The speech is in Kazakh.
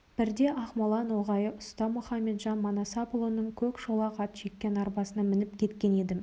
бірде ақмола ноғайы ұста мұқаметжан манасапұлының көк шолақ ат жеккен арбасына мініп кеткен едім